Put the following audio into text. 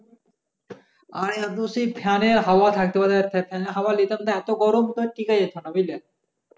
আয় fan হাওয়া থাকতে পারে না এত গরম টিকা যাচ্ছে না বুঝলে